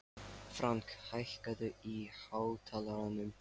Frank, hækkaðu í hátalaranum.